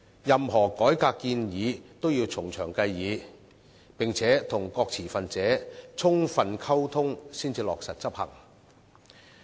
任何改革建議都要從長計議，並且與各持份者充分溝通才落實執行。